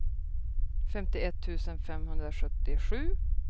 femtioett tusen femhundrasjuttiosju